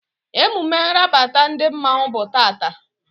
Emume nrabata ndị mmanwu bụ tata